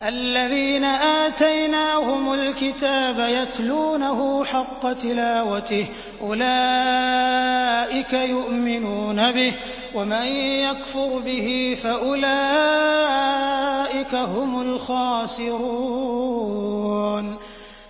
الَّذِينَ آتَيْنَاهُمُ الْكِتَابَ يَتْلُونَهُ حَقَّ تِلَاوَتِهِ أُولَٰئِكَ يُؤْمِنُونَ بِهِ ۗ وَمَن يَكْفُرْ بِهِ فَأُولَٰئِكَ هُمُ الْخَاسِرُونَ